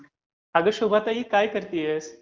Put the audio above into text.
अगं शुभाताई, काय करत आहेस?